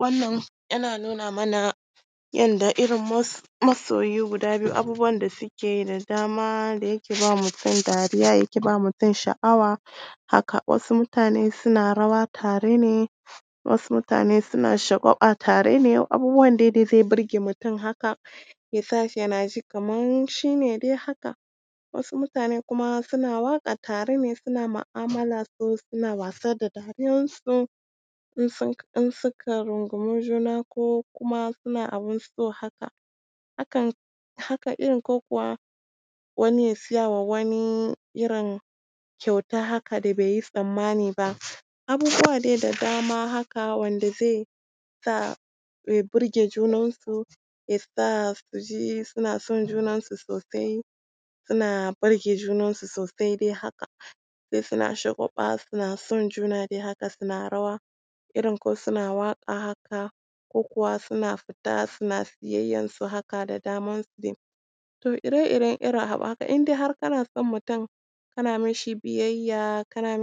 Wannan yana nuna mana yanda irin masoyi guda biyu, abubuwan da suke yi da dama da yake ba mutum dariya yake ba mutum sha’awa haka, wasu mutane suna rawa tare ne, wasu mutane suna shagwaɓa tare ne, abubuwan dai da zai burge mutum haka, yasa shi yana jin kaman shi ne da haka, wasu mutane kuma suna waka tare ne suna ma’amala suna wasa dariyan su in suka rungumi juna ko kuma suna abin so haka, hakan iri ko kuwa wani ya siyarwa wani kyauta haka da beyi tsammani ba, abubuwa dai da dama wanda ze sa ya burge junansu, yasa su ji suna son junansu suna burge junansu sosai dai haka, suna shagwaɓa suna son juna dai haka, suna rawa irin ko suna waƙa haka, ko kuwa suna fita suna siyayyansu haka da damansu dai. To ire-iren irin abu haka in dai har kana son mutum kana mishi biyayya kana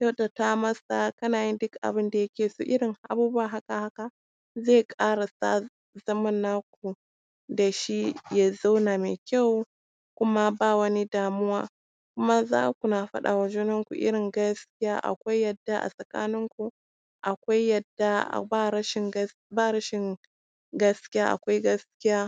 kyautata mishi, kana yin duk abinda ya so, irin abubuwa haka, haka, zai ƙara sa zaman naku ya dashi ya zauna mai kyau, kuma ba wani damuwa, kuma zaku na fadama junanku gaskiya, akwai yarda a tsakaninku, irin gaskiya akwai yarda tsakanin ku, akwai yarda ba rashin gaskiya, akwai gaskiya.